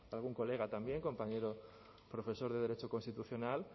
algún colega también compañero profesor de derecho constitucional